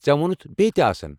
ژےٚ ووٚنُتھ بییٚہِ تہِ آسَن؟